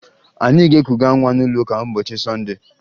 Anyị ga-ekuga nwa n'ụlọụka n'ụbọchị Sọnde